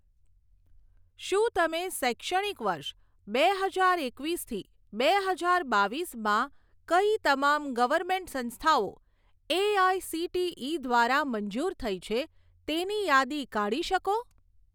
શું તમે શૈક્ષણિક વર્ષ બે હજાર એકવીસ થી બે હજાર બાવીસમાં કઈ તમામ ગવર્મેન્ટ સંસ્થાઓ એઆઇસીટીઇ દ્વારા મંજૂર થઇ છે તેની યાદી કાઢી શકો?